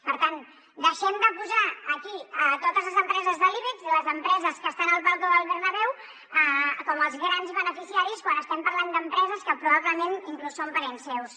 per tant deixem de posar aquí totes les empreses de l’ibex i les empreses que estan a la llotja del bernabéu com els grans beneficiaris quan estem parlant d’empreses que probablement inclús són parents seus